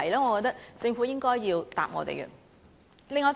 我覺得政府應該要回應這問題。